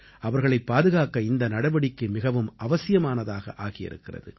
அவர்களைப் பாதுகாக்க இந்த நடவடிக்கை மிகவும் அவசியமானதாக ஆகியிருக்கிறது